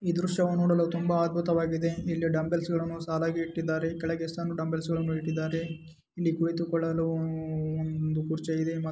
ಈ ದೃಶ್ಯವನ್ನು ನೋಡಲು ತುಂಬಾ ಅದ್ಭುತವಾಗಿದೆ ಇಲ್ಲಿ ಡಂಬಲ್ಸ್ಗಳನ್ನು ಸಾಲಾಗಿ ಇಟ್ಟಿದ್ದಾರೆ ಕೆಳಗಡೆ ಸಣ್ಣ ಡಂಬಲ್ಸ್ ಗಳನ್ನು ಇಟ್ಟಿದ್ದಾರೆ ಇಲ್ಲಿ ಕುಳಿತುಕೊಳ್ಳಲು ಉಮ್ ಒಂದು ಕುರ್ಚಿ ಇದೆ.